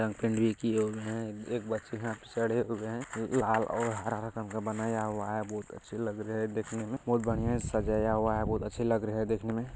रंग पेंट भी किये हुए है एक बच्चे यहां पर चढ़े हुए है लाल और हरा कलर का बनाया हुआ है बहुत अच्छे लग रहे है देखने में बहुत बढ़िया से सजाया हुआ है बहुत अच्छे लग रहे है देखने में।